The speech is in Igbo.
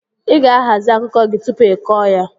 Ị ga-ahazi akụkọ gị tupu ị kọọ ya!